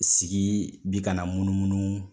Sigi bi ka na munu munu